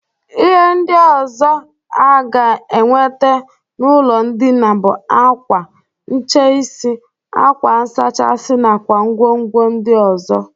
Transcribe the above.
Ihe ndị ọzọ aga enwete n'ụlọ ndịna bụ akwa, ncheisi, akwa nsachi nakwa ngwongwo ndị ọzọ.